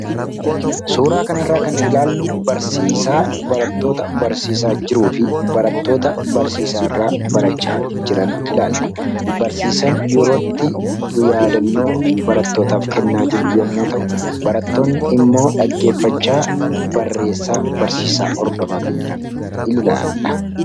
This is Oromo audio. suuraa kana irraa kan ilaallu barsiisaa barattoota barsiisaa jiruu fi barattoota barsiisaa irraa barachaa jiran ilaalla barsiisan yerootti yaadannoo barattootaaf kennaa jiru yommuu ta'u barattoonni immoo dhaggeeffachaa barreessaa barsiisaa hordofaa kan jiran ilalla